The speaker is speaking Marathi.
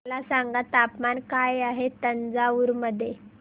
मला सांगा तापमान काय आहे तंजावूर मध्ये